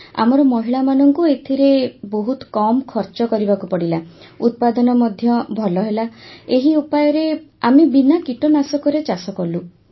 sir ଆମର ମହିଳାମାନଙ୍କୁ ଏଥିରେ ବହୁତ କମ ଖର୍ଚ୍ଚ କରିବାକୁ ପଡ଼ିଲା ଉତ୍ପାଦନ ମଧ୍ୟ ଭଲ ହେଲା ଏହି ଉପାୟରେ ଆମେ ବିନା କୀଟନାଶକରେ ଚାଷ କଲୁ